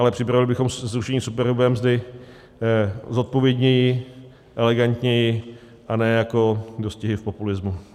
Ale připravovali bychom zrušení superhrubé mzdy zodpovědněji, elegantněji, a ne jako dostihy v populismu.